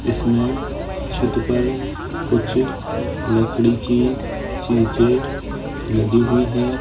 इसमें छत पर कुछ लकड़ी की चीजे लगी हुई है।